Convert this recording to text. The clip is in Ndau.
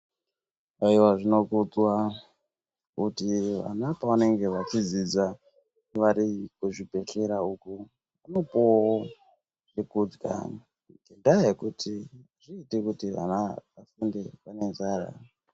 Aiwa zvinokudzwa kuti vana pavanenge vachidzidza vari kuzvibhedhlera uko vambopuwawo zvekudya ngendaa yokuti azviiti kuti vana vafunde vane nzara.